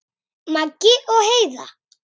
Maggi og Heiða.